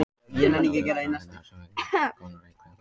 Þannig má líta á rökfræðina sem eins konar leikreglur um samskipti.